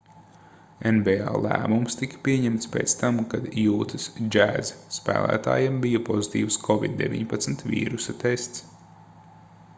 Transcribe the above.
nba lēmums tika pieņemts pēc tam kad jūtas jazz spēlētājam bija pozitīvs covid-19 vīrusa tests